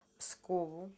пскову